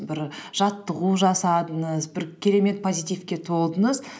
бір жаттығу жасадыңыз бір керемет позитивке толдыңыз